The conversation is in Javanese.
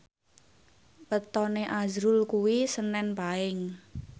wetone azrul kuwi senen Paing